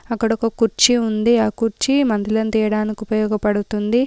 అక్కడొక కుర్చీ ఉంది ఆ కుర్చీ మందులను తీయడానికి ఉపయోగపడుతుంది.